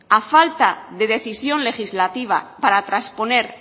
a falta de decisión legislativa para trasponer